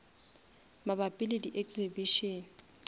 mabapi le di exhibition